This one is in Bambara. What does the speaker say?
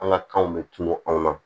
An ka kanw bɛ tunu an na